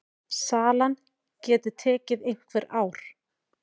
Salan geti tekið einhver ár.